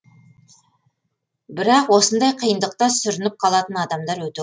бірақ осындай қиындықта сүрініп қалатын адамдар өте